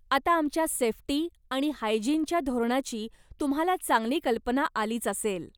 आता आमच्या सेफ्टी आणि हायजिनच्या धोरणाची तुम्हाला चांगली कल्पना आलीच असेल.